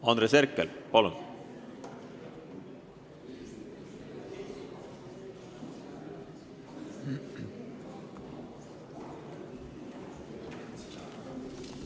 Andres Herkel, palun!